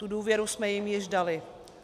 Tu důvěru jsme jim již dali.